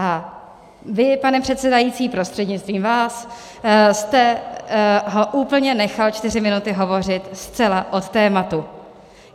A vy, pane předsedající prostřednictvím vás, jste ho úplně nechal čtyři minuty hovořit zcela od tématu.